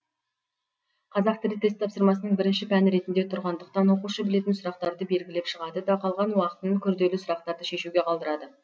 қазақ тілі тест тапсырмасының бірінші пәні ретінде тұрғандықтан оқушы білетін сұрақтарды белгілеп шығады да қалған уақытын күрделі сұрақтарды шешуге қалдырады